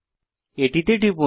এটিতে টিপুন